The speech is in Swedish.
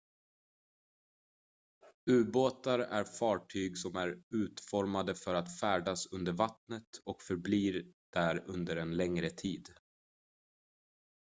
ubåtar är fartyg som är utformade för att färdas under vattnet och förbli där under en längre tid